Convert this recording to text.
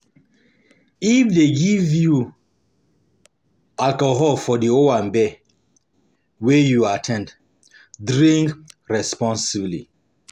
If dem give alcohol for di owambe um wey um you at ten d, drink responsibly